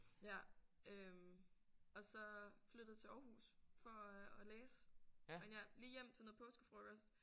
Ja øh og så flyttet til Aarhus for at at læse men ja lige hjem til noget påskefrokost